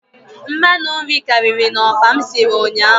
Mmanụ nri karịrị na okpa m sịrị ụnyaahụ